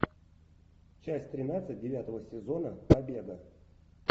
часть тринадцать девятого сезона победа